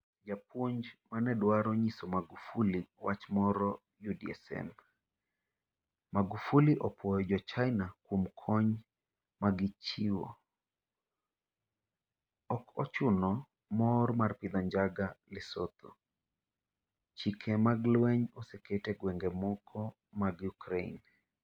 Japuonj ma ne dwaro nyiso Magufuli wach moro UDSM Magufuli opuoyo jo China kuom kony ma gichiwo 'ok ochuno' Mor mar pidho njaga Lesotho Chike mag lweny oseket e gwenge moko mag Ukraine.